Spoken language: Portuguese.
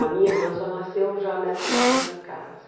A minha irmã só nasceu já nessa segunda casa.